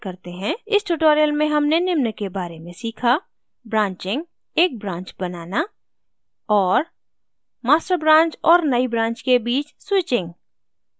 इस tutorial में हमने निम्न के बारे में सीखा